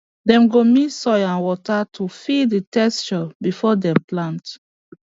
dem go mix soil and water to feel the texture before dem plant